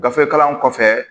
Gafe kalan kɔfɛ